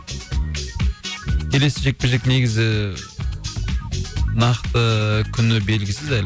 келесі жекпе жек негізі нақты ыыы күні белгісіз әлі